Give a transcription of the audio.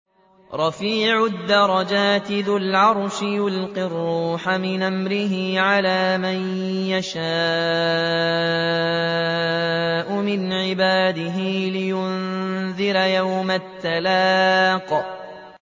رَفِيعُ الدَّرَجَاتِ ذُو الْعَرْشِ يُلْقِي الرُّوحَ مِنْ أَمْرِهِ عَلَىٰ مَن يَشَاءُ مِنْ عِبَادِهِ لِيُنذِرَ يَوْمَ التَّلَاقِ